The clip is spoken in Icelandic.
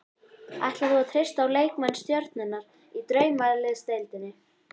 Ætlar þú að treysta á leikmenn stjörnunnar í Draumaliðsdeildinni?